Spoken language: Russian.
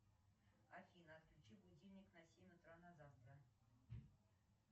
афина отключи будильник на семь утра на завтра